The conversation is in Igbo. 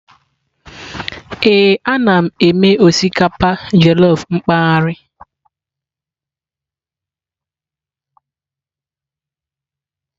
Ee, ana m eme osikapa jellof mpaghara.